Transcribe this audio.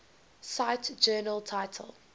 cite journal title